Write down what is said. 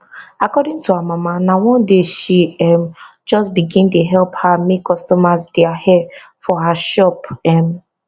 according to her mama na one day she um just begin dey help her make customers dia hair for her shop um